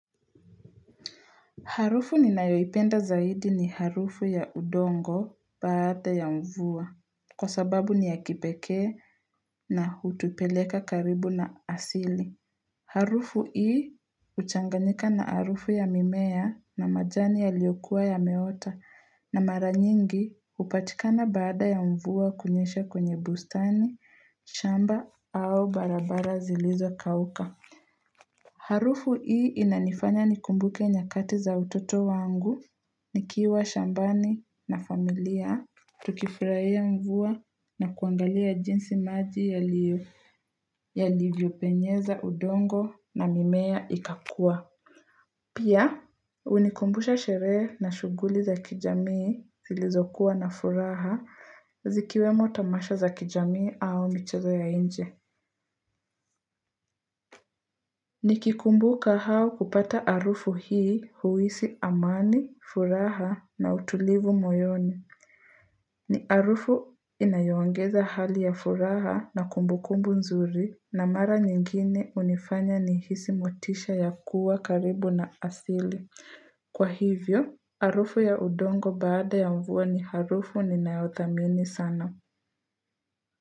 Harufu ninayoipenda zaidi ni harufu ya udongo baada ya mvua kwa sababu ni ya kipekee na hutupeleka karibu na asili. Harufu hii huchanganika na harufu ya mimea na majani yaliokua yameota na mara nyingi hupachikana baada ya mvua kunyesha kwenye bustani, shamba au barabara zilizokawuka. Harufu hii inanifanya nikumbuke nyakati za utoto wangu, nikiwa shambani na familia, tukifurahia mvua na kuangalia jinsi maji yalivyopenyeza udongo na mimea ikakua. Pia, hunikumbusha sherehe na shughuli za kijamii zilizokuwa na furaha zikiwemo tamasha za kijamii au michezo ya nje. Nikikumbuka hao kupata harufu hii huhisi amani, furaha na utulivu moyoni. Ni harufu inayoongeza hali ya furaha na kumbukumbu nzuri na mara nyingine hunifanya nihisi motisha ya kuwa karibu na asili. Kwa hivyo, harufu ya udongo baada ya mvua ni harufu ninayothamini sana.